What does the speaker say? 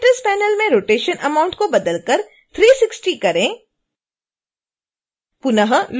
parameters panel में rotation amount को बदल कर 360 करें